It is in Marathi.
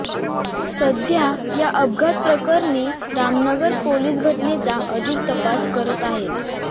सध्या या अपघाताप्रकरणी रामनगर पोलीस घटनेचा अधिक तपास करत आहेत